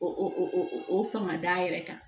O o fanga d'a yɛrɛ kan